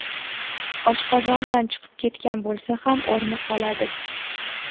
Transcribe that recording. Oshqozondan chiqib ketgan bo‘lsa ham, o‘rni qoladi.